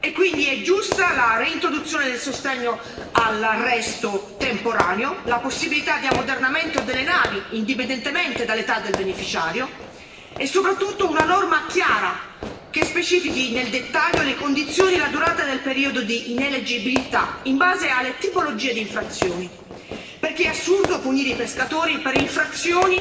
Quindi sono giuste la reintroduzione del sostegno all'arresto temporaneo, la possibilità di ammodernamento delle navi, indipendentemente dall'età del beneficiario, e soprattutto una norma chiara che specifichi nel dettaglio le condizioni e la durata del periodo di ineleggibilità in base alle tipologie di infrazioni, perché è assurdo punire i pescatori per infrazioni